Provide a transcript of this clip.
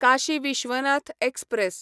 Kashi Vishwanath express